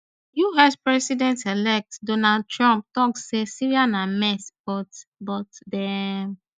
us presidentelect donald trump tok say syria na mess but but dem